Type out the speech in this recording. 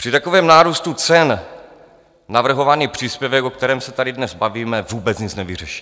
Při takovém nárůstu cen navrhovaný příspěvek, o kterém se tady dnes bavíme, vůbec nic nevyřeší.